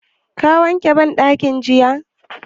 Ka wanke banɗakin jiya?